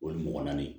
O ye mɔgɔ naani ye